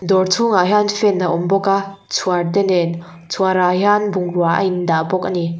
dawr chhungah hian fan a awm bawk a chhuarte nen chhuar ah hian bungrau a in dah bawk ani.